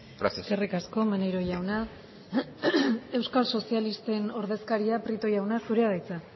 gracias eskerrik asko maneiro jauna euskal sozialisten ordezkaria prieto jauna zurea da hitza